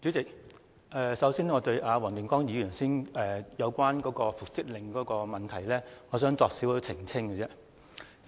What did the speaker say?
主席，首先，我對黃定光議員剛才所說有關復職令的問題作少許澄清。